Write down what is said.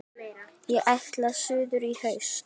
Ég ætla suður í haust.